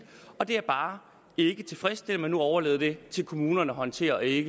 og det er bare ikke tilfredsstillende at man nu overlader det til kommunerne at håndtere i